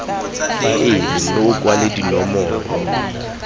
faele mme o kwale dinomoro